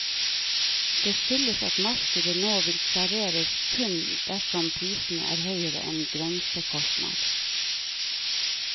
Det skyldes at markedet nå vil klareres kun dersom prisen er høyere enn grensekostnad.